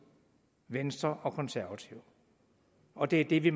venstre og de konservative og det det vi